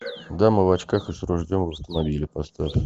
дама в очках и с ружьем в автомобиле поставь